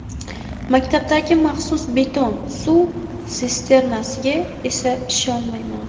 Maktabdagi maxsus beton suv sisternasiga esa ishonmayman”.